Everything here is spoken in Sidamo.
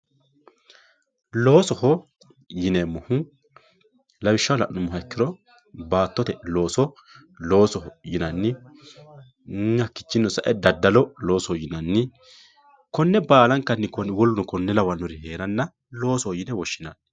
loosoho yineemmohu lawishshaho la'nummoha ikkiro baattote looso loosoho yinanni hakkiichinni sae daddalo loosoho yinanni konne baalankanni woluno kuri"uu lawannori heeranna loosoho yine woshshinanni.